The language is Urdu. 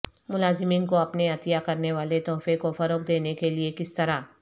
ملازمین کو اپنے عطیہ کرنے والے تحفے کو فروغ دینے کے لئے کس طرح